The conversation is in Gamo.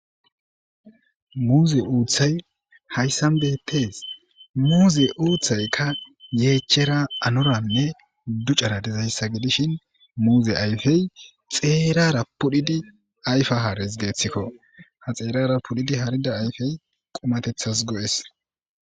muze uththayi hayissanni betees.muze uththayikka yechchara anora ducara dizayissa muze ayifeyi xerara pudhdhidi ayifa hares gussukko .haa xerara pudhdhidi harida ayifeyi qumateththasi go'ees.